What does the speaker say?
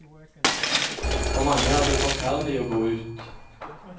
For mange er det forferdelig å gå ut.